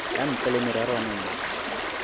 ka ntle le mererwana ye